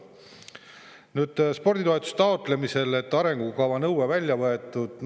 Nüüd, sporditoetuste taotlemisel on arengukava nõue välja võetud.